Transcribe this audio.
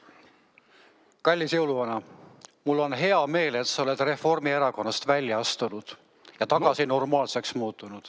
Kallis jõuluvana, mul on hea meel, et sa oled Reformierakonnast välja astunud ja tagasi normaalseks muutunud.